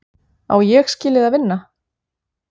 Á Ég skilið að vinna?